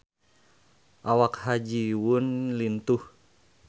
Awak Ha Ji Won lintuh